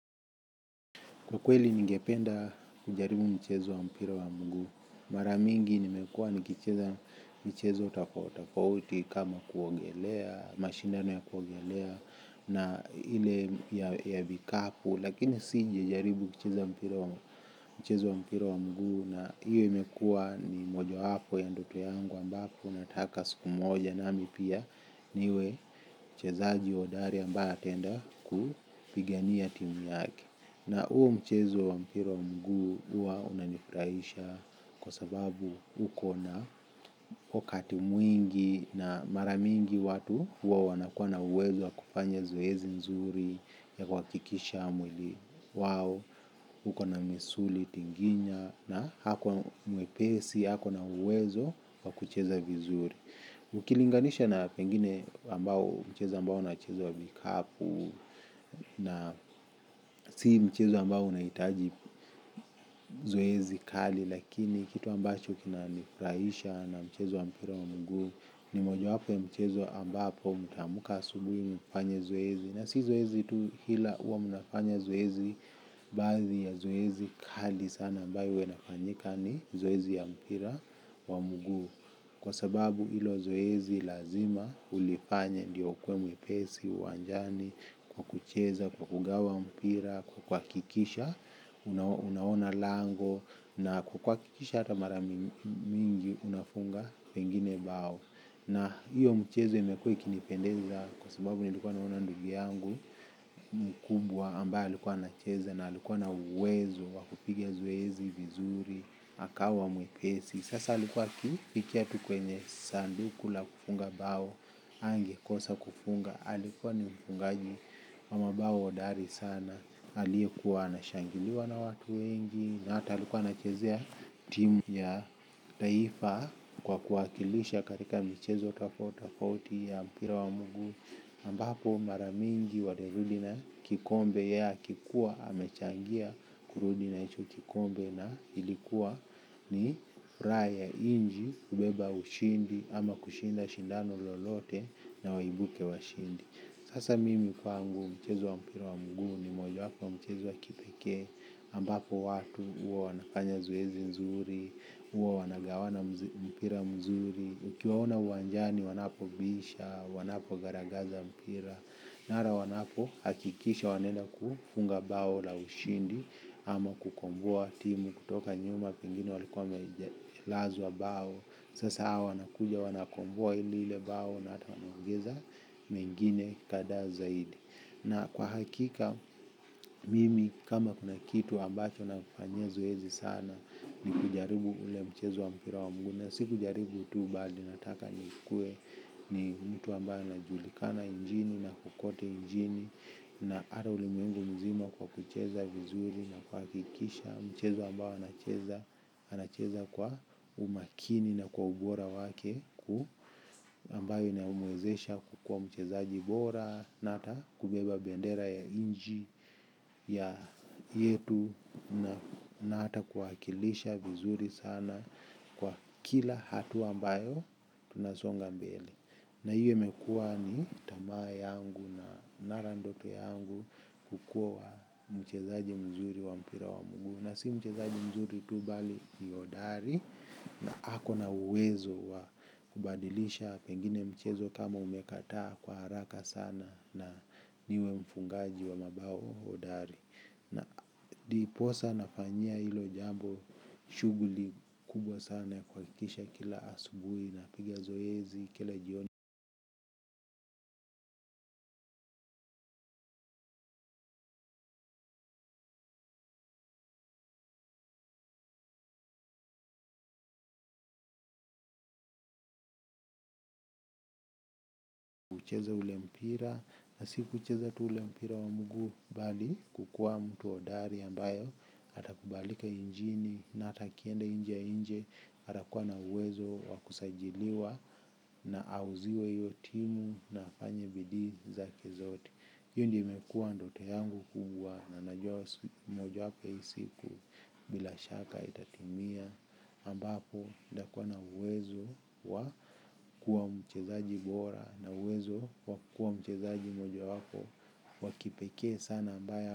Kwa kweli ningependa kujaribu mchezo wa mpira wa mguu. Mara mingi nimekuwa nikicheza mchezo tofauti tofauti kama kuogelea, mashindano ya kuogelea, na ile ya vikapu. Lakini sija jaribu kucheza mchezo wa mpira wa mguu na hiyo imekua ni mojo wapo ya ndoto yangu ambapo nataka siku moja nami pia niwe mchezaji hodari ambaye anapenda kupigania timu yake. Na huo mchezo wa mpira mguu huwa unanifurahisha kwa sababu ukona wakati mwingi na mara mingi watu huwa wanakuwa na uwezo wa kufanya zoezi mzuri ya kuhakikisha mwili. Wao, uko na misuli tinginya na hako na mwepesi, hako na uwezo wa kucheza vizuri. Ukilinganisha na pengine mchezo ambao na mchezo wa vikapu. Na si mchezo ambao unahitaji zoezi kali. Lakini kitu ambacho kinanifrahisha na mchezo wa mpira wa mguu. Ni mojawapo ya mchezo ambao mutaamuka asubuhi mufanye zoezi. Na si zoezi tu ila huwa munafanya zoezi. Baadhii ya zoezi kali sana ambayo huwe inafanyika ni zoezi ya mpira wa mguu. Kwa sababu ilo zoezi lazima ulifanya ndiyo ukuwe mwepesi, uwanjani, kwa kucheza, kwa kugawa mpira, kwa kuhakikisha, unaona lango, na kwa kuahakikisha ata mara mingi unafunga pengine bao. Na hiyo mchezo imekuwe ikinipendeza kwa sababu nilikuwa naono ndugu yangu mkubwa ambayo alikuwa anacheze na alikuwa na uwezo wakupigia zoezi, vizuri, akawa mwepesi. Sasa alikuwa akifikia tu kwenye sanduku la kufunga bao, hangekosa kufunga, alikuwa ni mfungaji wamabao hodari sana. Aliyekuwa ana shangiliwa na watu wengi na hata alikuwa na chezea timu ya taifa kwa kuwa wakilisha katika michezo tofauti tofauti ya mpira wa mugu ambapo mara mingi walirudi na kikombe yake kuwa amechangia kurudi na hicho kikombe na ilikuwa ni furaha ya inchi kubeba ushindi ama kushinda shindano lolote na waibuke washindi. Sasa mimi kwangu michezo wa mpira wa mguu ni moja wapo wamchezo wa kipekee ambapo watu huwa wanafanya zoezi nzuri huwa wanagawana mpira mzuri ukiwaona uwanjani wanapobisha wanapogaragaza mpira mara wanapo hakikisha wanaenda kufunga bao la ushindi ama kukomboa timu kutoka nyuma pingine walikuwa wamelazwa bao sasa hawa wanakuja wanakomboa lile bao na hata wanaongeza mengine kadha zaidi na kwa hakika. Mimi kama kuna kitu ambacho na kufanyia zoezi sana ni kujaribu ule mchezo wa mpira wa mguu na sikujaribu tu bali nataka ni kuwe ni mtu ambayo najulikana njini na kukote njini. Na hata ulimwengu mzima kwa kucheza vizuri na kuhakikisha mchezo ambayo anacheza kwa umakini na kwa ubora wake ambayo inaumwezesha kukua mchezaji bora na ata kubeba bendera ya inchi ya yetu na hata kuwakilisha vizuri sana kwa kila hatua ambayo tunasonga mbeli na hiyo imekuwa ni tamaa yangu na narandote yangu kukua mchezaji mzuri wa mpira wa mguu na si mchezaji mzuri tu bali ni hodari. Na hako na uwezo wa kubadilisha pengine mchezo kama umekataa kwa haraka sana na niwe mfungaji wa mabao hodari. Na diposa nafanyia ilo jambo shughuli kubwa sana ya kuhakikisha kila asubuhi napigi zoezi kile jioni. Kucheza ule mpira na si kucheza tu ule mpira wa mguu bali kukua mtu hodari ambayo atakubalika injini na hata kiende inje inje. Atakuwa na uwezo wa kusajiliwa na auziwe hiyo timu na afanye bidii zake zote hiyo ndiyo imekuwa ndoto yangu kubwa na najua moja wapo ya hii siku bila shaka itatimia ambapo ndakuwa na uwezo wa kuwa mchezaji bora. Na uwezo wakuwa mchezaji moja wapo wakipekee sana ambaye.